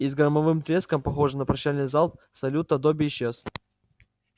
и с громовым треском похожим на прощальный залп салюта добби исчез